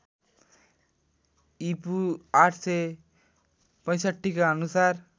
ईपू ८६५ का अनुसार